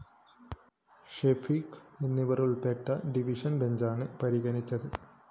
ഷെഫീഖ് എന്നിവരുള്‍പ്പെട്ട ഡിവിഷൻ ബെഞ്ചാണ് പരിഗണിച്ചത്